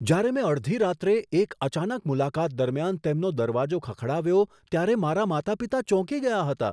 જ્યારે મેં અડધી રાત્રે એક અચાનક મુલાકાત દરમિયાન તેમનો દરવાજો ખખડાવ્યો, ત્યારે મારા માતા પિતા ચોંકી ગયા હતા.